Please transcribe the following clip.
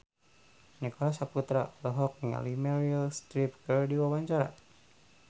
Nicholas Saputra olohok ningali Meryl Streep keur diwawancara